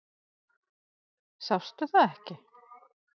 Sástu það ekki?